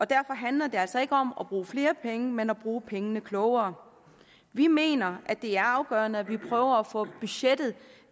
derfor handler det altså ikke om at bruge flere penge men at bruge pengene klogere vi mener det er afgørende at vi prøver at få budgettet